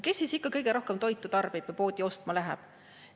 Kes siis ikka kõige rohkem toitu tarbib ja poodi ostma läheb?